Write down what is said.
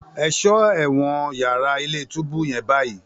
Ẹ̀ṣọ́ ẹ̀wọ̀n yàrá ilé-túbú yẹn báyìí!